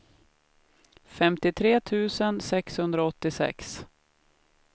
femtiotre tusen sexhundraåttiosex